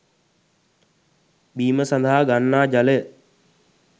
බීම සඳහා ගන්නා ජලය